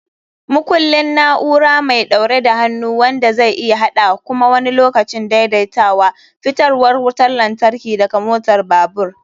Makullin: na'ura mai ɗaure da hannu wanda zai iya haɗa (kuma wani lokacin daidaitawa) fitarwar wutar lantarki daga motar babur.